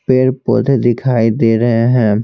पेड़ पौधे दिखाई दे रहे हैं।